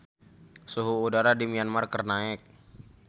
Suhu udara di Myanmar keur naek